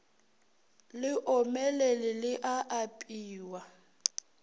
le omelele le a apewa